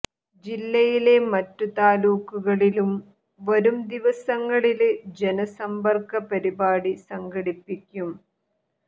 ജില്ലയിലെ മറ്റു താലൂക്കുകളിലും വരും ദിവസങ്ങളില് ജനസമ്പര്ക്ക പരിപാടി സംഘടിപ്പിക്കും